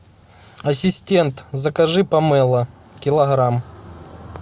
ассистент закажи помело килограмм